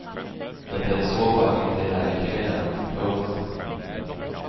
Det är i så fall inte heller kriminellt. punkt